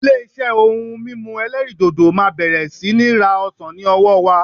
Ilé-iṣẹ́ ohun mímu ẹlẹ́rìdòdò máa bẹ̀rẹ̀ sí ní ra ọsàn ní ọwọ́ wa.